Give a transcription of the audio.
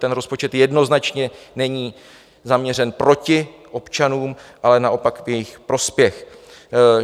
Ten rozpočet jednoznačně není zaměřen proti občanům, ale naopak v jejich prospěch.